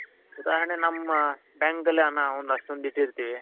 ಉದಾಹರಣೆ ನಮ್ಮ bank ಅಲ್ಲಿ ನಾವು ಒಂದು ಅಷ್ಟೊಂದಿಟ್ಟಿರ್ತೀವಿ